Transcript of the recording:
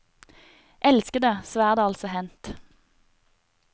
Elskede, så er det altså hendt.